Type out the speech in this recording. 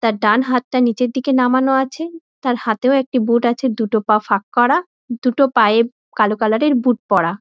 তার ডানহাতটা নীচের দিকে নামানো আছে তার হাতেও একটি বুট আছে দুটো পা ফাঁক করা দুটো পায়ে কালো কালার এর বুট পরা।